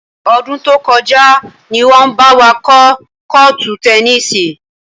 Ọdún tó kọjá ni wọn bá wa kọ́ kọ́ọ́tù tẹnísì.